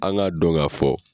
An k'a don ka fɔ.